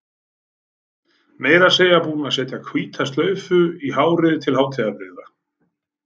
Meira að segja búin að setja hvíta slaufu í hárið til hátíðarbrigða.